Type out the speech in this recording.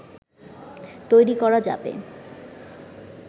তৈরি করা যাবে